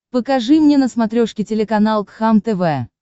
покажи мне на смотрешке телеканал кхлм тв